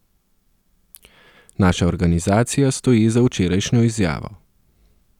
Naša organizacija stoji za včerajšnjo izjavo.